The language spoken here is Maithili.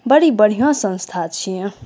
बड़ी बढ़िया संस्था छिये।